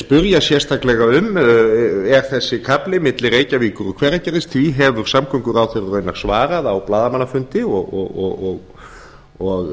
spyrja sérstaklega um er þessi kafli milli reykjavíkur og hveragerðis því hefur samgönguráðherra raunar svarað á blaðamannafundi og